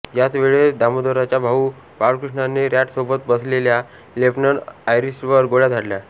याचवेळेस दामोदराच्या भाऊ बाळकृष्णाने रॅड सोबत बसलेल्या लेफ्टनंट आयरिस्टवर गोळ्या झाडल्या